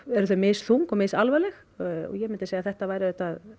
eru þau misþung og misalvarleg ég mundi segja að þetta væri